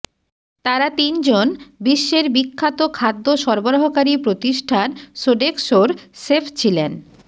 তারা তিনজন বিশ্বের বিখ্যাত খাদ্য সরবরাহকারী প্রতিষ্ঠান সোডেক্সোর শেফ ছিলেন